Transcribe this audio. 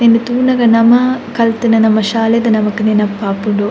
ಉಂದೆನ್ ತೂನಗ ನಮ ಕಲ್ತಿನ ನಮ್ಮ ಶಾಲೆದ ನಮಕ್ ನೆನಪಾಪುಂಡು .